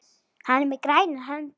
Hann er með grænar hendur.